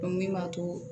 min b'a to